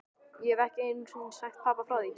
Ég hef ekki einu sinni sagt pabba frá því.